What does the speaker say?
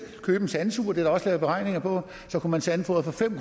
købe en sandsuger det også lavet beregninger på så kunne man sandfodre for fem